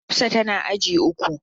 Hafsat tana agi uku.